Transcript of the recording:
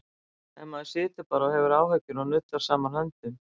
Ef maður situr bara og hefur áhyggjur og nuddar saman höndum?